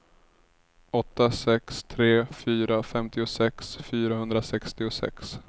åtta sex tre fyra femtiosex fyrahundrasextiosex